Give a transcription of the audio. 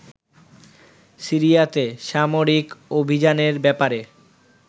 সিরিয়াতে সামরিক অভিযানের ব্যাপারে